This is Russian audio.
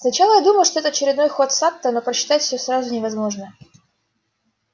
сначала я думал что это очередной ход сатта но просчитать все сразу невозможно